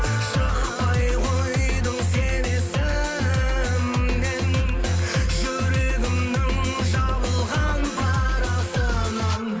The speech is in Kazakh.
шықпай қойдың сен есімнен жүрегімнің жабылған парасынан